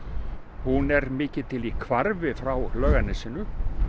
hún er mikið til í hvarfi frá Laugarnesinu